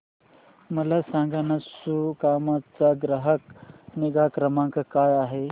मला सांगाना सुकाम चा ग्राहक निगा क्रमांक काय आहे